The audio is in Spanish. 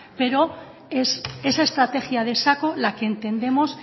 pero es esa estrategia de saco la que entendemos